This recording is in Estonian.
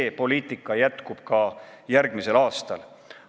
See poliitika jätkub ka järgmisel aastal.